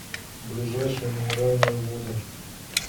ближайший минеральные воды